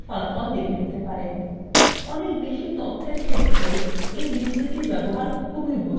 একই পদ্ধতিতে apply অন্যান্য শর্ত প্রয়োগ করে ফলাফল দেখে নিতে পারেন